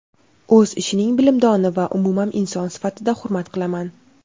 o‘z ishining bilimdoni va umuman inson sifatida hurmat qilaman.